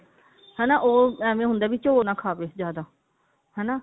ਹਨਾ ਉਹ ਐਵੇਂ ਹੁੰਦਾ ਵੀ ਝੋਲ ਨਾ ਖਾਵੇ ਜਿਆਦਾ ਹਨਾ